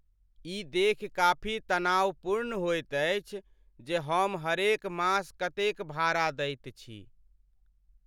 ई देखि काफी तनावपूर्ण होइत अछि जे हम हरेक मास कतेक भाड़ा दैत छी।